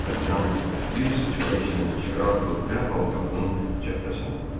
Dartanyan bir sıçrayışla içəri atılıb dərhal qapının cəftəsini vurdu.